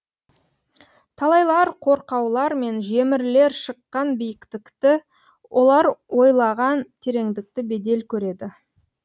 талайлар қорқаулар мен жемірлер шыққан биіктікті олар бойлаған тереңдікті бедел көреді